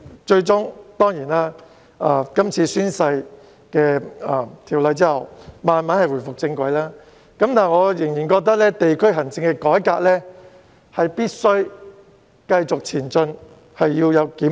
最終，在有關的宣誓條例通過後，區議會逐漸回復正軌，但我仍然覺得地區行政改革必須繼續推行和需要檢討。